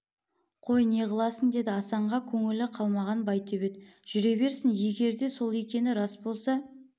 қой не қыласың деді асанға көңілі қалмаған байтөбет жүре берсін егер де сол екені рас болса